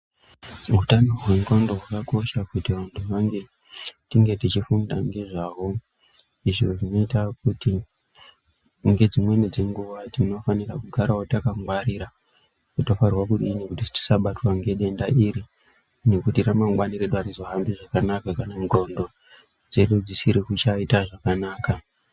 Hutano hwendxondo hwakakosha kuti vantu vange tichifunda ngezvaho. Zvinoita kuti ngedzimweni dzenguva tinofanira kugaravo takangwarira tofanira kudini kuti tisabatwa ngedenda iri. Nekuti ramangwani redu harizohambi zvakanaka kana ndxondo dzedu dzisiri kuchaita zvakanaka.